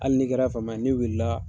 Hali ni kɛra fama ye n'i wulila